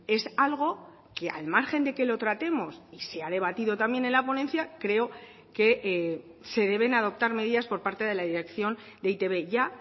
es algo que al margen de que lo tratemos y sea debatido también en la ponencia creo que se deben adoptar medidas por parte de la dirección de e i te be ya